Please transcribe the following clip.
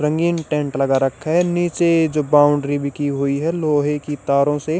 रंगीन टेंट लगा रखा है नीचे जो बाउंड्री भी की हुई है लोहे की तारों से--